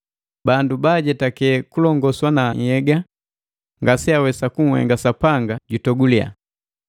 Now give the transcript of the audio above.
Bandu baajetake kulongoswa na nhyega ngase awesa kunhenga Sapanga jutogulia.